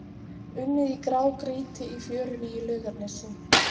Unnið í grágrýti í fjörunni í Laugarnesi